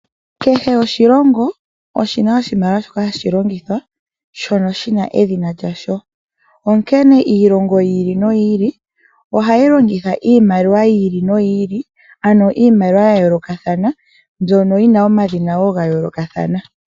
Kehe oshilongo oshi na oshimaliwa shoka ha shi longithwa shono shi na edhina lyasho, onkene iilongo yiili noyiili oha yi longitha iimaliwa yiili noyiili ano iimaliwa ya yoolokathana mbyono yina omadhina woo ga yoolokathana.